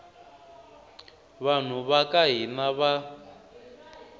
vanhu va ka hina va